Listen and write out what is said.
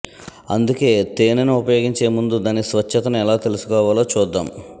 అందుకే తేనెను ఉపయోగించే ముందు దాని స్వచ్ఛతను ఎలా తెలుసుకోవాలో చూద్దాం